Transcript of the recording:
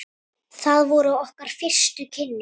Það voru okkar fyrstu kynni.